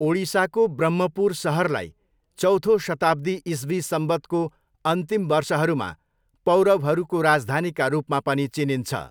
ओडिसाको ब्रह्मपुर सहरलाई चौथो शताब्दी इस्वी संवतको अन्तिम वर्षहरूमा पौरवहरूको राजधानीका रूपमा पनि चिनिन्छ।